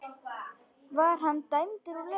Var hann dæmdur úr leik?